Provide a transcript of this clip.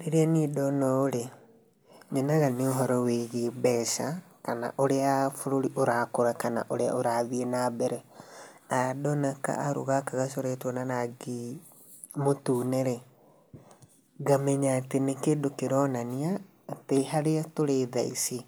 Rĩrĩa niĩ ndona ũũ-rĩ, nyonaga nĩ ũhoro wĩgiĩ mbeca kana ũrĩa bũrũri ũrakũra kana ũrĩa ũrathiĩ na mbere. Ndona ka arũ gaka gacoretwo na rangĩ mũtune-rĩ, ngamenya atĩ nĩ kĩndũ kĩronania atĩ harĩa tũri thaa ici,